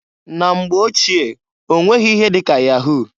Na mgbe ochie onweghi ihe di ka yahu.